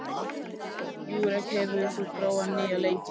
Júrek, hefur þú prófað nýja leikinn?